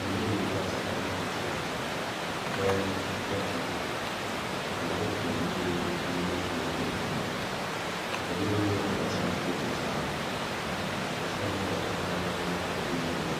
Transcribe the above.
Gima biro e pacha kaneno pichani en japur kendo japur mobiro limo puothe. Obiro ngiyo kaka chal puothe chal nikech kaneno bathe kanyo aneno koketo yiende,